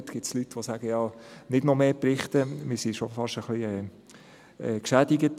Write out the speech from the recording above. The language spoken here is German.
Es gibt Leute, die sagen: «Nicht noch mehr Berichte, wir sind schon fast ein bisschen geschädigt.